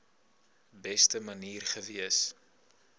beste manier gewees